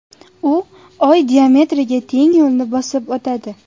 U Oy diametriga teng yo‘lni bosib o‘tadi.